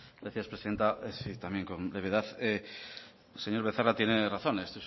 gracias presidenta sí también con brevedad señor becerra tiene razón hay